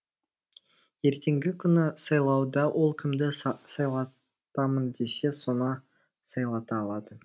ертеңгі күні сайлауда ол кімді сайлатамын десе соны сайлата алады